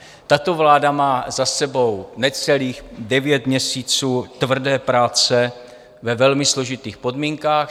Tato vláda má za sebou necelých devět měsíců tvrdé práce ve velmi složitých podmínkách.